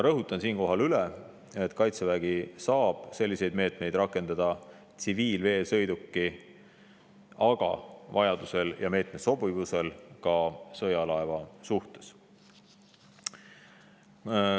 Rõhutan siinkohal üle, et Kaitsevägi saab selliseid meetmeid rakendada tsiviilveesõiduki, aga vajaduse ja sobivuse korral ka sõjalaeva suhtes.